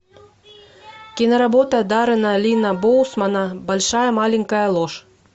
киноработа даррена линна боусмана большая маленькая ложь